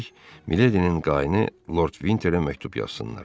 Üstəlik, Miledinin qaini Lord Vinterə məktub yazsınlar.